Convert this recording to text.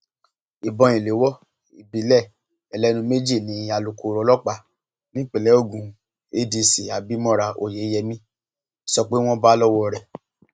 ìbọn ìléwọ ìbílẹ ẹlẹnu méjì ni alūkkoro ọlọpàá nípínlẹ ogun adc abimora oyeyèmí sọ pé àwọn bá lọwọ rẹ